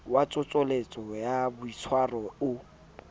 wa tsoseletso ya boitshwaro o